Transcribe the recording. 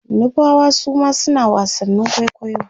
nupawa Suma suna wasannin kwaikwayo